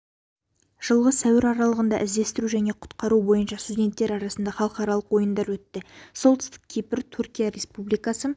жылғы сәуір аралығында іздестіру және құтқару бойынша студенттер арасында халықаралық ойындар өтті солтүстік кипр түркия республикасы